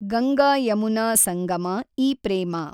ಗಂಗಾ ಯಮುನಾ ಸಂಗಮ ಈ ಪ್ರೇಮ